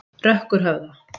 Rökkurhöfða